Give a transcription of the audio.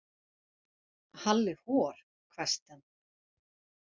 Halli hor hvæsti hann.